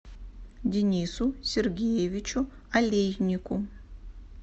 денису сергеевичу олейнику